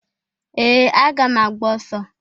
Ee! Aga m agba ọsọ.